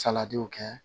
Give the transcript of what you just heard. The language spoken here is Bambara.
Saladiw kɛ